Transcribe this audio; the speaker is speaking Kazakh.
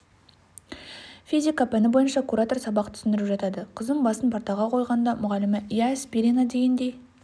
физика пәні бойынша куратор сабақ түсіндіріп жатады қызым басын партаға қойғанда мұғалімі иә спирина дегендей